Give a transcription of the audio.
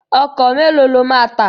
Ọkọ̀ mélòó ló máa tà?